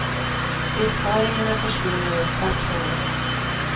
Besparingarna försvinner i ett svart hål.